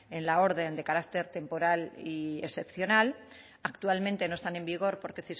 en la orden de carácter temporal y excepcional actualmente no están en vigor porque